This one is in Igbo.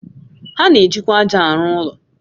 Ha na-ejikwa ájá arụ ụlọ